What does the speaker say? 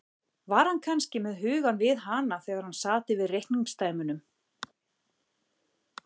Var hann kannski með hugann við hana þegar hann sat yfir reikningsdæmunum.